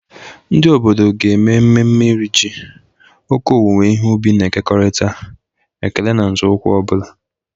Ndị obodo ga-eme mmemme Iri ji, oke owuwe ihe ubi na-ekekọrịta, ekele na nzọụkwụ ọ bụla.